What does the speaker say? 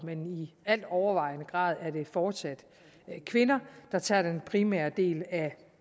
men i altovervejende grad er det fortsat kvinder der tager den primære del af